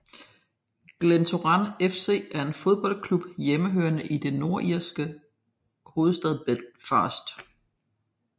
Glentoran FC er en fodboldklub hjemmehørende i den nordirske hovedstad Belfast